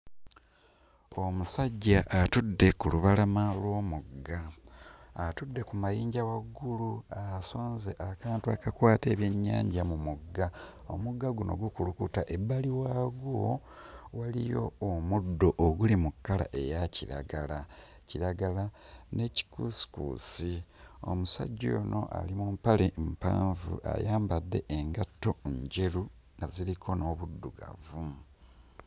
Omusajja atudde ku lubalama lw'omugga. Atudde ku mayinja waggulu asonze akantu akakwata ebyennyanja mu mugga. Omugga guno gukulukuta. Ebbali waagwo waliyo omuddo oguli mu kkala eya kiragala, kiragala ne kikuusikuusi. Omusajja ono ali mu mpale mpanvu ayambadde engatto ngeru nga ziriko n'obuddugavu.